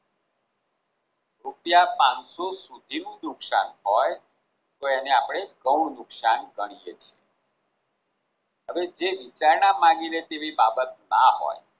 રૂપિયા પાનસો સુધીનું નુકશાન હોય તો આપણે તેને ઘણું નુકશાન ગણીએ છીએ હવે જે વિચારણા માંગીને તેવી બાબત ના હોય